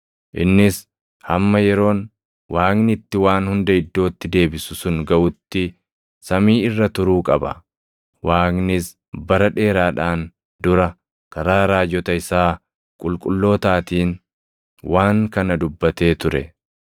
Innis hamma yeroon Waaqni itti waan hunda iddootti deebisu sun gaʼutti samii irra turuu qaba; Waaqnis bara dheeraadhaan dura karaa raajota isaa qulqullootaatiin waan kana dubbatee ture.